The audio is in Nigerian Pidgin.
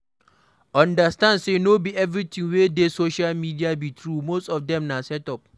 Understand sey no be everything wey dey social media be true, most of dem na set up